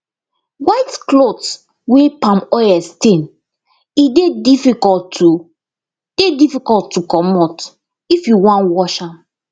white clothes wey palm oil stain e dey difficult to dey difficult to comot if you wan wash am